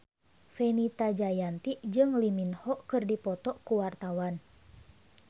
Fenita Jayanti jeung Lee Min Ho keur dipoto ku wartawan